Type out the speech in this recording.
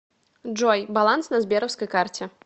джой баланс на сберовской карте